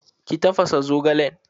Ki tafasa zogalen!